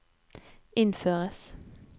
innføres